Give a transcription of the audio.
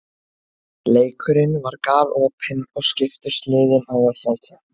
Leikurinn var galopinn og skiptust liðin á að sækja.